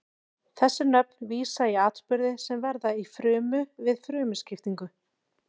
Þessi nöfn vísa í atburði sem verða í frumu við frumuskiptingu.